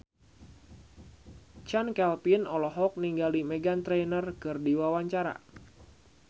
Chand Kelvin olohok ningali Meghan Trainor keur diwawancara